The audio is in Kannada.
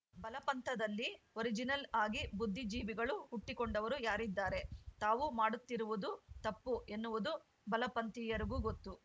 ಬಲಪಂಥದಲ್ಲಿ ಒರಿಜಿನಲ್‌ ಆಗಿ ಬುದ್ಧಿಜೀವಿಗಳು ಹುಟ್ಟಿಕೊಂಡವರು ಯಾರಿದ್ದಾರೆ ತಾವು ಮಾಡುತ್ತಿರುವುದು ತಪ್ಪು ಎನ್ನುವುದು ಬಲಪಂಥೀಯರಿಗೂ ಗೊತ್ತು